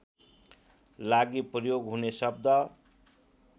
लागि प्रयोग हुने शब्द